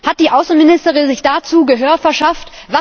Hat die Außenministerin sich dazu Gehör verschafft?